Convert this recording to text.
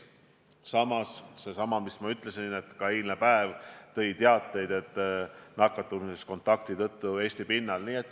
Samas, nagu ma ütlesin, eilne päev tõi teateid nakatumisest kontakti tõttu Eesti pinnal.